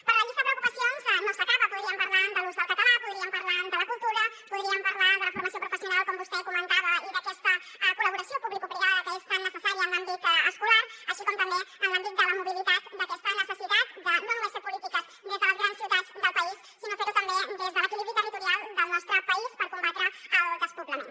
però la llista de preocupacions no s’acaba podríem parlar de l’ús del català podríem parlar de la cultura podríem parlar de la formació professional com vostè comentava i d’aquesta col·laboració publicoprivada que és tan necessària en l’àmbit escolar així com també en l’àmbit de la mobilitat d’aquesta necessitat de no només fer polítiques des de les grans ciutats del país sinó fer ho també des de l’equilibri territorial del nostre país per combatre el despoblament